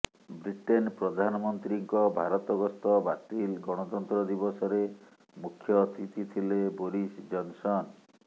Britain ପ୍ରଧାନମନ୍ତ୍ରୀଙ୍କ ଭାରତ ଗସ୍ତ ବାତିଲ ଗଣତନ୍ତ୍ର ଦିବସରେ ମୁଖ୍ୟ ଅତିଥି ଥିଲେ ବୋରିସ୍ ଜନସନ୍